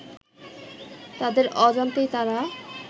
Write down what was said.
তাদের অজান্তেই তারা